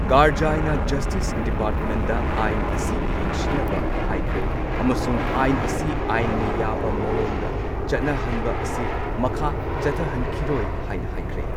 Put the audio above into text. ꯀꯔꯖꯥꯏꯅ justice ꯗꯤꯄꯥꯔꯠꯃꯦꯟꯠꯗ ꯑꯥꯏꯟ ꯑꯁꯤ ꯌꯦꯡꯁꯤꯟꯅꯕ ꯍꯥꯏꯈ꯭ꯔꯦ꯫ ꯑꯃꯁꯨꯡ ꯑꯥꯏꯟ ꯑꯁꯤ ꯑꯥꯏꯟꯅ ꯌꯥꯕ ꯃꯑꯣꯡꯗ ꯆꯠꯅꯍꯟꯕ ꯑꯁꯤ ꯃꯈꯥ ꯆꯠꯊꯍꯟꯈꯤꯔꯣꯢ ꯍꯥꯏꯅ ꯍꯥꯢꯈ꯭ꯔꯦ꯫